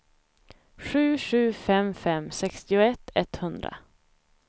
sju sju fem fem sextioett etthundra